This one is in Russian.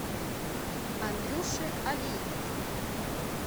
андрюше олейнике